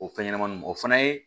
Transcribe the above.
O fɛn ɲɛnɛmaniw o fana ye